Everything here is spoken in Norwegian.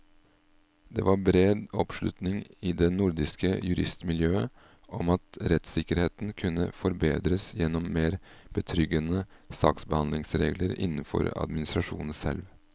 Det var bred oppslutning i det nordiske juristmiljøet om at rettssikkerheten kunne forbedres gjennom mer betryggende saksbehandlingsregler innenfor administrasjonen selv.